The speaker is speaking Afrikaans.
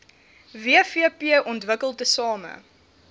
wvp ontwikkel tesame